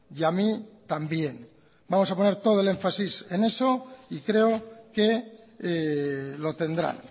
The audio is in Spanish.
y a mí también vamos a poner todo el énfasis en eso y creo que lo tendrá